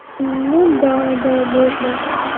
ну да да можно